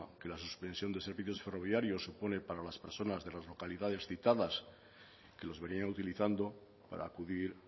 que la suspensión de servicios ferroviarios supone para las personas de las localidades citadas que los venían utilizando para acudir